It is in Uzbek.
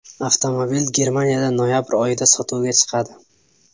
Avtomobil Germaniyada noyabr oyida sotuvga chiqadi.